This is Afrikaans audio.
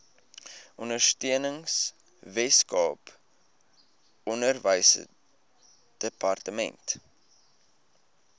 ondersteuning weskaap onderwysdepartement